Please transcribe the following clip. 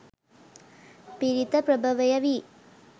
පිරිත ප්‍රභවය වී